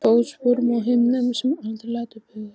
Fótsporum á himnum sem aldrei lætur bugast.